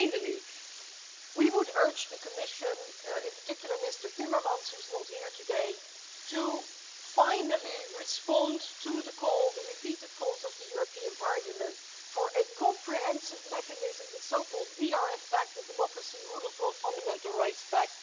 And finally, we would urge the Commission, in particular Mr Timmermans who is not here today, to finally respond to the call, the repeated calls, of the European Parliament for a comprehensive mechanism, the so called DRF pact the democracy, rule of law and fundamental rights pact.